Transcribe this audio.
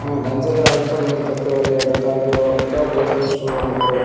হ্যাঁ ডান সাইডে আর একটা জিনিস দেখতে পারিয়া যেটা হইল এটাও গ্রসারি স্টোরের মতো।